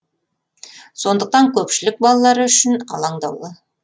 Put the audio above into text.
сондықтан көпшілік балалары үшін алаңдаулы